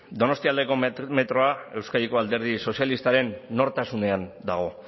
donostialdeko metroa euskadiko alderdi sozialistaren nortasunean dago